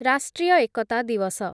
ରାଷ୍ଟ୍ରୀୟ ଏକତା ଦିୱସ